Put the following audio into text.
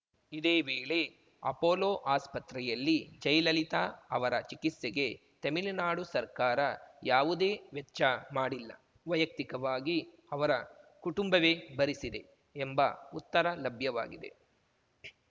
ಇದೇ ವೇಳೆ ಅಪೊಲೋ ಆಸ್ಪತ್ರೆಯಲ್ಲಿ ಜಯಲಲಿತಾ ಅವರ ಚಿಕಿತ್ಸೆಗೆ ತೆಮಿಳುನಾಡು ಸರ್ಕಾರ ಯಾವುದೇ ವೆಚ್ಚ ಮಾಡಿಲ್ಲ ವೈಯಕ್ತಿಕವಾಗಿ ಅವರ ಕುಟುಂಬವೇ ಭರಿಸಿದೆ ಎಂಬ ಉತ್ತರ ಲಭ್ಯವಾಗಿದೆ